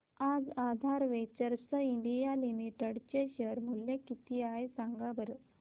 आज Aadhar Ventures India Limited चे share चे मूल्य किती आहे सांगा बरं